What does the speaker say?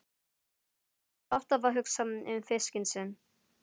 Hann var alltaf að hugsa um fiskinn sinn.